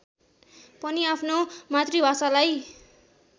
पनि आफ्नो मातृभाषालाई